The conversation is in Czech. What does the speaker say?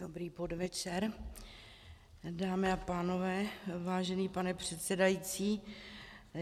Dobrý podvečer, dámy a pánové, vážený pane předsedající.